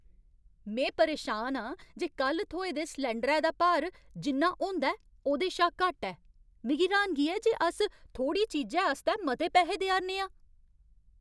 में परेशान आं जे कल्ल थ्होए दे सलैंडरै दा भार, जिन्ना होंदा ऐ, ओह्दे शा घट्ट ऐ। मिगी र्हानगी ऐ जे अस थोह्ड़ी चीजै आस्तै मते पैहे देआ'रने आं।